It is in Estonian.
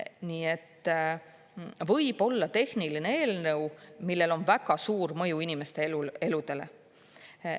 Nii et võib-olla tehniline eelnõu, millel on väga suur mõju inimeste eludele.